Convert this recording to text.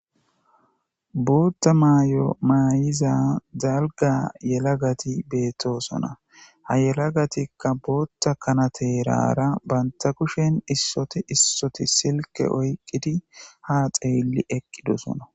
bootha maayo maayiza dalga yelagati beettoosona ha yelagatikka bootta kanateerara banta kushen issoti issoti silke oyqqidi ha xeylli eqqidosona